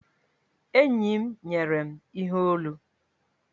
Enyi m nyere m ihe olu.